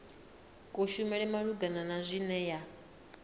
kushumele malugana na zwine ya